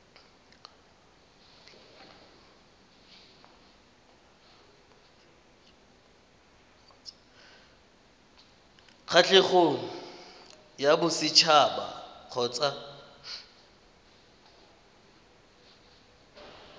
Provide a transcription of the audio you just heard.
kgatlhegong ya boset haba kgotsa